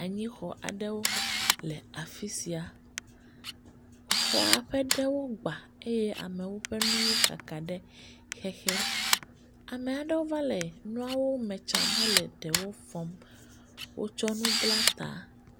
Anyi xɔ aɖewo le afisia, xɔa ƒe ɖewo gba eye amewo ƒe nuwo kaka ɖe xexe, amaɖewo va le nuawo me tsam he le ɖewo fɔm, wo tsɔ nu bla ta.